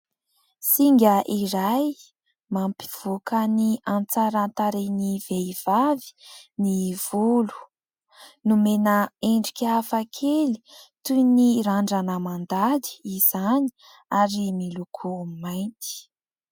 Singa iray mampivoaka ny hatsaran-tarehin'ny vehivavy ny volo. Nomena endrika hafakely toy ny randrana mandady izany ary miloko mainty.